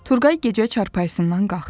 Turqay gecə çarpayısından qalxdı.